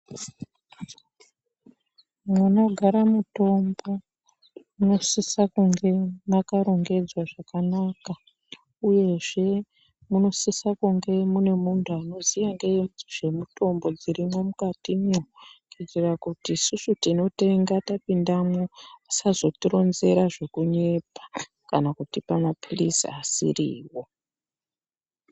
Munogara mutombo munosise kunge mwakarongedzwa zvakanaka uyezve munosisa kunge mune munthu anoziya ngezvemitombo dzirimwo mukatimwo kuitira kuti isusu tinotenga tapindamwo asazotironzera zvekunyepa kana kutipa maphirizi asiriwo.